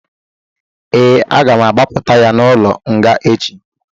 Ee, aga m agbapụta ya n'ụlọ nga echi